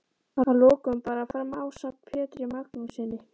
Að lokum bar hann fram ásamt Pjetri Magnússyni